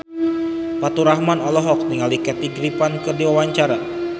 Faturrahman olohok ningali Kathy Griffin keur diwawancara